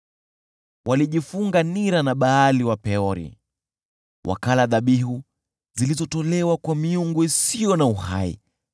Walijifunga nira na Baali wa Peori, wakala dhabihu zilizotolewa kwa miungu isiyo na uhai.